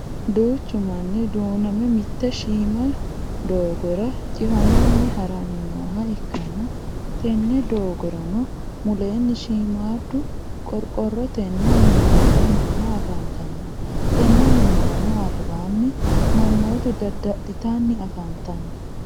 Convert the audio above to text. duuchu manni duunamme mitte shiima doogora cifamanni haranni nooha ikanna tenne doogoranno mulenni shiimaadu qoriqorotenni minooni Minna afantanno tenne minaranno alibaani manootu dada'litanni afanitanno.